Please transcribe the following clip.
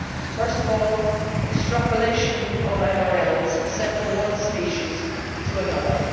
First of all, extrapolation of MRLs set for one species to another